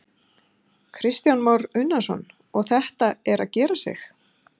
Kristján Már Unnarsson: Og þetta er að gera sig?